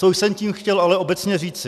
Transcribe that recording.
Co jsem tím chtěl ale obecně říci?